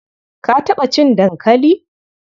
Ka taɓa cin dankali?